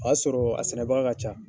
O y'a sɔrɔ a sɛnɛbaga ka ca.